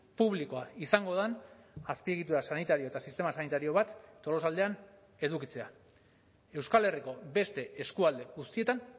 publikoa izango den azpiegitura sanitario eta sistema sanitario bat tolosaldean edukitzea euskal herriko beste eskualde guztietan